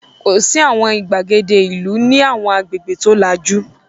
Kò sí àwọn ìgbàgede ìlú ní àwọn agbègbè tó lajú.